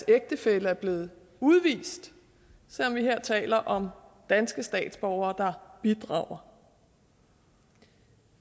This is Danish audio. ægtefælle er blevet udvist selv om vi her taler om danske statsborgere bidrager